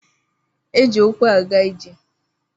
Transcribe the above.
Eji ukwu aga ije.